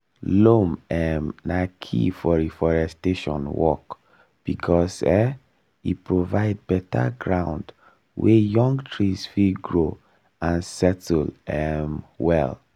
loam um na key for reforestation work because um e provide better ground wey young trees fit grow and settle um well.